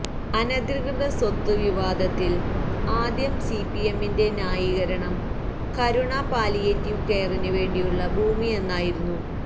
അനധികൃതസ്വത്ത് വിവാദത്തില് ആദ്യം സിപിഎമ്മിന്റെ ന്യായീകരണം കരുണ പാലിയേറ്റീവ് കെയറിന് വേണ്ടിയുള്ള ഭൂമിയെന്നായിരുന്നു